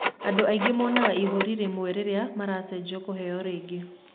Andũ angĩ maonaga ihũri rĩmwe rĩrĩa maracenjio kũheo rĩngĩ.